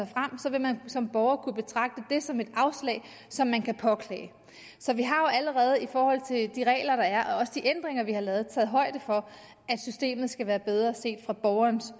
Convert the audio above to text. når man som borger kunne betragte det som et afslag som man kan påklage så vi har jo allerede i forhold til de regler der er og også de ændringer vi har lavet taget højde for at systemet skal være bedre set fra borgerens